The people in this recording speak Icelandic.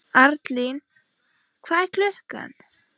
Arnlín, hvað er klukkan?